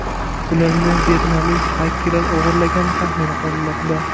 Ularni vyetnamlik xakerlar o‘g‘irlagani taxmin qilinmoqda.